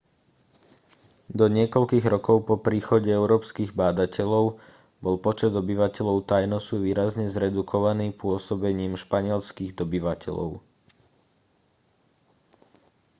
do niekoľkých rokov po príchode európskych bádateľov bol počet obyvateľov tainosu výrazne zredukovaný pôsobením španielskych dobyvateľov